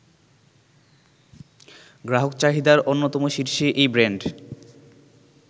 গ্রাহক চাহিদার অন্যতম শীর্ষে এই ব্র্যান্ড